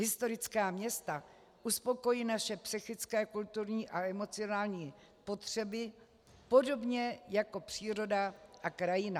Historická města uspokojí naše psychické, kulturní a emocionální potřeby podobně jako příroda a krajina.